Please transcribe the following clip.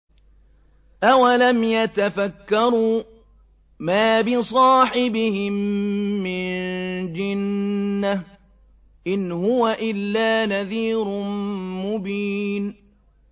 أَوَلَمْ يَتَفَكَّرُوا ۗ مَا بِصَاحِبِهِم مِّن جِنَّةٍ ۚ إِنْ هُوَ إِلَّا نَذِيرٌ مُّبِينٌ